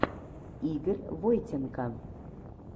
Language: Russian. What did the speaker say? игорь войтенко